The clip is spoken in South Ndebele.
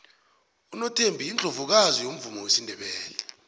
unothembi yiundlovukazi yomvumo wesindebele